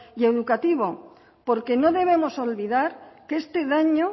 y educativo porque no debemos olvidar que este daño